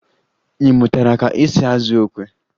Ị mụtara ka esi azụ okwe?